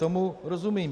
Tomu rozumím.